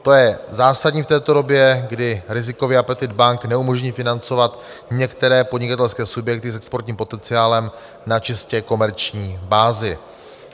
To je zásadní v této době, kdy rizikově apetit bank neumožní financovat některé podnikatelské subjekty s exportním potenciálem na čistě komerční bázi.